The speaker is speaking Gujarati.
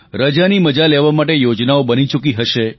રજાની મજા લેવા માટે યોજનાઓ બની ચૂકી હશે